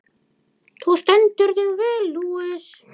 Þú stendur þig vel, Louise!